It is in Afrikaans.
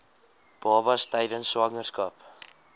babas tydens swangerskap